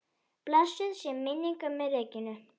Blessuð sé minning ömmu Regínu.